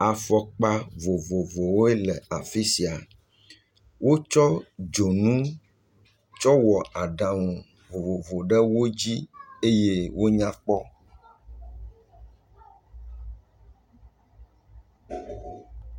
Afɔkpa vovovowoe le afisia. Wotsɔ dzonu tsɔ wɔ aɖaŋu vovovowo ɖe wodzi eye wonya kpɔ